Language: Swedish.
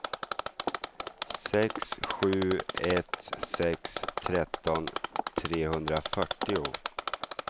sex sju ett sex tretton trehundrafyrtio